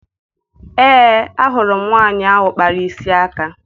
Ee, ahụrụ m nwaanyị ahụ kpara isi aka